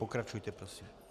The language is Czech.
Pokračujte prosím.